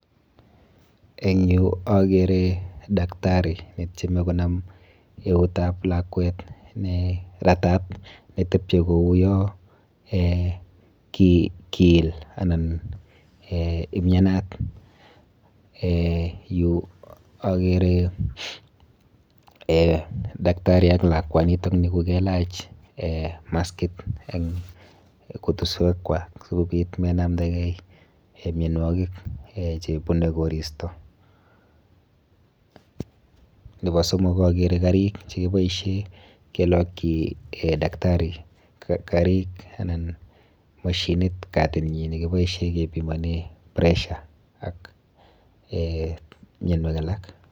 En yu akere daktari netyeme konam eutab lakwet neratat netepche kou yon kiil anan eeh umianat, eeh yu akere daktari ak lakwanitok ni kokeelach maskit en kutuswekwa sikopit komainamndake mianwoki chebunei koristo, nepo somok akere karik chekiboisien kelokyi daktari karik anan moshinit katinyin nekeboisien kepimonen pressure ak eeh mionwokik alak.